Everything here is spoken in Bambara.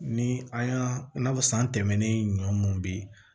Ni an y'a fɔ san tɛmɛnen ɲɔn munnu be yen